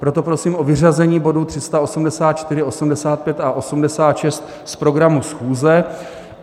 Proto prosím o vyřazení bodů 384, 385 a 386 z programu schůze.